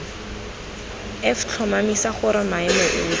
f tlhomamisa gore maemo otlhe